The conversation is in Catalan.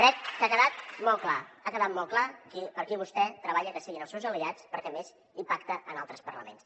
crec que ha quedat molt clar ha quedat molt clar per qui vostè treballa que siguin els seus aliats perquè a més hi pacta en altres parlaments